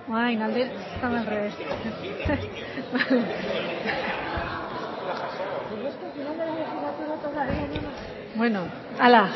está al revés